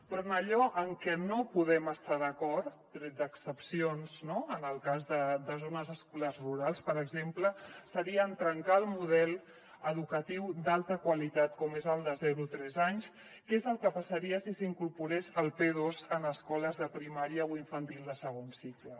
però en allò en que no podem estar d’acord tret d’excepcions no en el cas de zones escolars rurals per exemple seria en trencar el model educatiu d’alta qualitat com és el de zero a tres anys que és el que passaria si s’incorporés el p2 en escoles de primària o infantil de segon cicle